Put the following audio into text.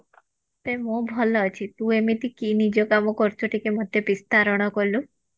ଆବେ ମୁଁ ଭଲ ଅଛି ତୁ ଏମିତି କି ନିଜ କାମ କରୁଛୁ ଟିକେ ମତେ ବିସ୍ତରଣ କଲୁ